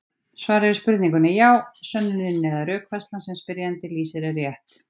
Svarið við spurningunni er já: Sönnunin eða rökfærslan sem spyrjandi lýsir er rétt.